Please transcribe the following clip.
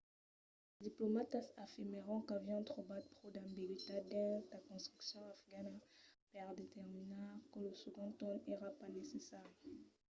los diplomatas afirmèron qu'avián trobat pro d'ambigüitat dins la constitucion afgana per determinar que lo segond torn èra pas necessari